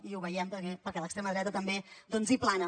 i ho veiem perquè l’extrema dreta també hi plana